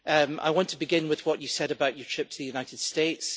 I want to begin with what you said about your trip to the United States.